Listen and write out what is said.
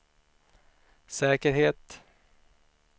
säkerhet